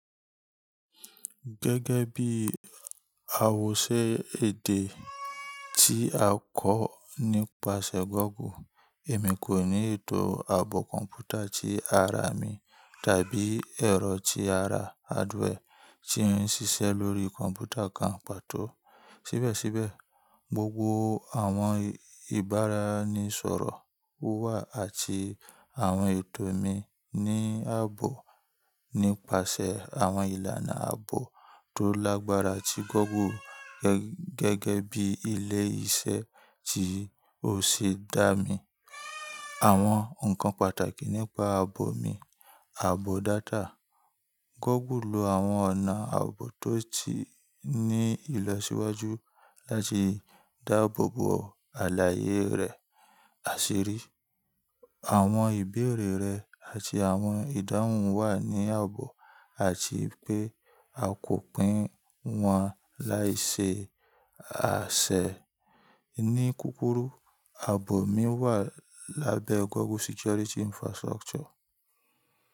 Gẹ́gẹ́ bí àwòṣe èdè tí a kọ́ nípasẹ̀ Google, èmi kò ní ètò àbọ̀ kọ̀m̀pútà tí ara mi tàbí ẹ̀rọ tí ara hardware tí ń ṣiṣẹ́ lórí kọ̀m̀pútà kan pàtó. Síbẹ̀síbẹ̀, gbogbo àwọn ìbáraẹnisọ̀rọ̀ wà àti àwọn ètò mi ní àbọ̀ nípasẹ̀ àwọn ìlànà àbọ̀ tó lágbára tí Google gẹ́gẹ́ bí ilé iṣẹ́ tí ó ṣe dá mi. Àwọn ǹkan pàtàkì nípa àbọ̀ mi, àbọ̀ data. Google lo àwọn ọ̀nà àbọ̀ tó ti ní ìlọsíwájú láti dáàbò bo àlàyé rẹ, àṣírí, àwọn ìbéèrè rẹ àti àwọn ìdáhùn wà ní àbọ̀ àti pé a kò pín wọn laiṣe àsẹ̀. Ní kúrúkù, àbọ̀ mi wà lábẹ́ Google Security Infrastructure.